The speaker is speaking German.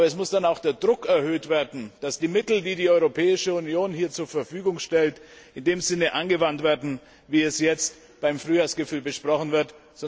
Aber es muss dann auch der Druck erhöht werden, damit die Mittel, die die Europäische Union hier zur Verfügung stellt, in dem Sinne angewandt werden, wie es jetzt beim Frühjahrsgipfel besprochen wird.